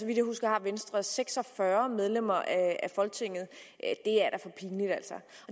vidt jeg husker har venstre altså seks og fyrre medlemmer af folketinget altså